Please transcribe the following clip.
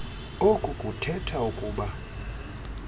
oku kuthetha ukuba